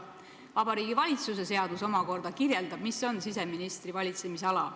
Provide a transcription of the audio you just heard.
Vabariigi Valitsuse seadus omakorda kirjeldab, mis on siseministri valitsemisala.